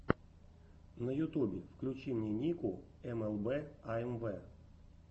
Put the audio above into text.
на ютубе включи мне нику эмэлбэ аэмвэ